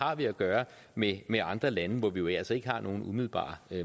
har vi at gøre med med andre lande hvor vi jo altså ikke har nogen umiddelbare